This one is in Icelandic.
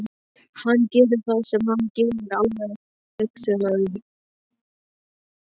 Hann gerir það sem hann gerir, alveg hugsunarlaust.